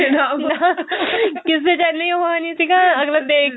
ਕਿਸੇ ਚ ਇੰਨੀ ਉਹ ਨੀ ਸੀਗਾ ਅਗਲਾ ਦੇਖ